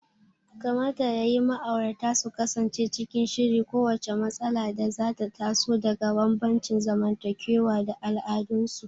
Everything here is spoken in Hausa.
Kamata ya yi ma'aurata su kasance cikin shiri kowacce matsala da za ta taso daga bambancin zamantakewa da al'adunsu.